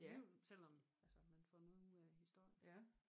Alligevel selvom altså man får noget ud af historien